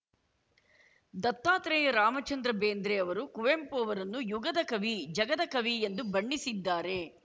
ದತ್ತಾತ್ರೇಯ ರಾಮಚಂದ್ರ ಬೇಂದ್ರೆ ಅವರು ಕುವೆಂಪು ಅವರನ್ನು ಯುಗದ ಕವಿ ಜಗದ ಕವಿ ಎಂದು ಬಣ್ಣಿಸಿದ್ದಾರೆ